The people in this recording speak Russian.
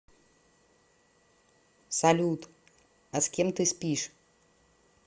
салют а с кем ты спишь